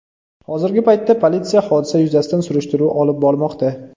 Hozirgi paytda politsiya hodisa yuzasidan surishtiruv olib bormoqda.